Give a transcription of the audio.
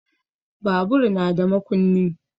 Babur na da makunni.